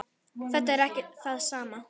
Þetta er ekki það sama.